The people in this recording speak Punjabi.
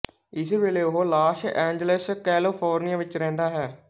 ਇਸ ਵੇਲੇ ਉਹ ਲਾਸ ਏਂਜਲਸ ਕੈਲੀਫ਼ੋਰਨੀਆ ਵਿੱਚ ਰਹਿੰਦਾ ਹੈ